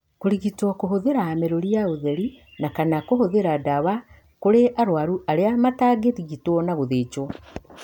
Kũrigitwo kũhũthĩra mĩrũri ya ũtheri na, kana kũhũthĩra ndawa kũrĩ arũaru arĩa matangĩrigitwo na gũthĩnjwo.